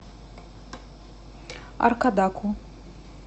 аркадаку